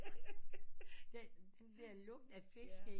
Der er lugten af fisk ikke